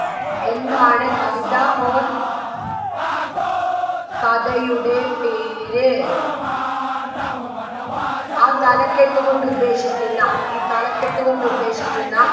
എന്താണ് കവിത or കഥയുടെ പേര് ആ തലക്കെട്ട് കൊണ്ട് ഉദ്ദേശിക്കുന്ന ഈ തലക്കെട്ട് കൊണ്ട് ഉദ്ദേശിക്കുന്ന